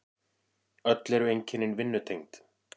Öll eru einkennin vinnutengd.